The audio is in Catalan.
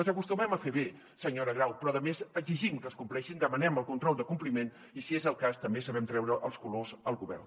les acostumem a fer bé senyora grau però a més exigim que es compleixin demanem el control de compliment i si és el cas també sabem treure els colors al govern